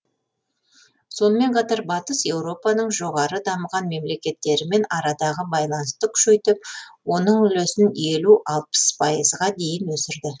сонымен қатар батыс еуропаның жоғары дамыған мемлекеттерімен арадағы байланысты күшейтіп оның үлесін елу алпыс пайызға дейін өсірді